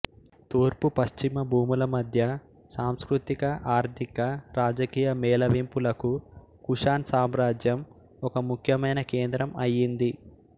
తూర్పు పశ్చిమ భూముల మధ్య సాస్కృతిక ఆర్థిక రాజకీయ మేళవింపులకు కుషాన్ సామ్రాజ్యం ఒక ముఖ్యమైన కేంద్రం అయ్యింది